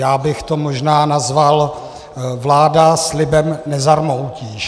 Já bych to možná nazval "vláda slibem nezarmoutíš".